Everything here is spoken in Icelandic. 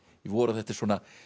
vor og þetta er